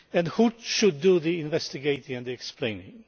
Who should do the investigating and the explaining?